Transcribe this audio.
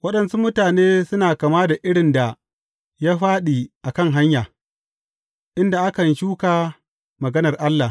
Waɗansu mutane suna kama da irin da ya fāɗi a kan hanya, inda akan shuka maganar Allah.